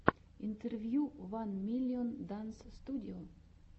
интервью ван миллион данс студио